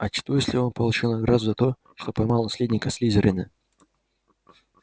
а что если он получил награду за то что поймал наследника слизерина